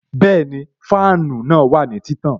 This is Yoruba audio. Bẹẹni, fáànù náà wà ní títàn